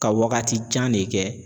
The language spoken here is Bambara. Ka wagati jan ne kɛ